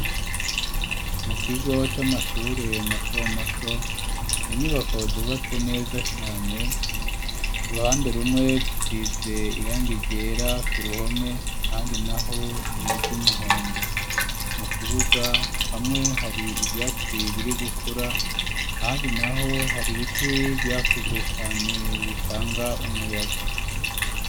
Mu kigo c'amashure mato mato inyubako zubatse neza cane uruhande rumwe zisize irangi ryera ku ruhome ahandi naho n'iryumuhondo mu kibuga hamwe hari ivyatsi biri gukura ahandi naho hari ibiti vyakuze cane bitanga umuyaga.